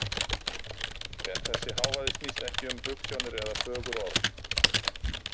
En þessi hávaði snýst ekki um hugsjónir eða fögur orð.